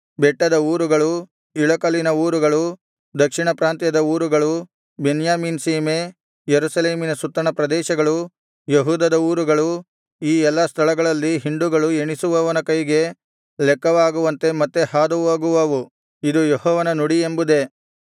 ಬೆಟ್ಟದ ಊರುಗಳು ಇಳಕಲಿನ ಊರುಗಳು ದಕ್ಷಿಣ ಪ್ರಾಂತ್ಯದ ಊರುಗಳು ಬೆನ್ಯಾಮೀನ್ ಸೀಮೆ ಯೆರೂಸಲೇಮಿನ ಸುತ್ತಣ ಪ್ರದೇಶಗಳು ಯೆಹೂದದ ಊರುಗಳು ಈ ಎಲ್ಲಾ ಸ್ಥಳಗಳಲ್ಲಿ ಹಿಂಡುಗಳು ಎಣಿಸುವವನ ಕೈಗೆ ಲೆಕ್ಕವಾಗುವಂತೆ ಮತ್ತೆ ಹಾದುಹೋಗುವವು ಇದು ಯೆಹೋವನ ನುಡಿ ಎಂಬುದೇ